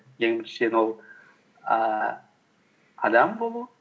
ең біріншіден ол ііі адам болу